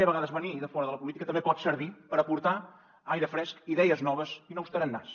a vegades venir de fora de la política també pot servir per aportar aire fresc idees noves i nous tarannàs